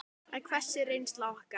En hver er reynsla okkar?